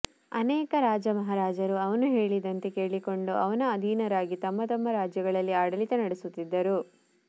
ಅನೇಕ ರಾಜಮಹಾರಾಜರು ಅವನು ಹೇಳಿದಂತೆ ಕೇಳಿಕೊಂಡು ಅವನ ಅಧೀನರಾಗಿ ತಮ್ಮ ತಮ್ಮ ರಾಜ್ಯಗಳಲ್ಲಿ ಆಡಳಿತ ನಡೆಸುತ್ತಿದ್ದರು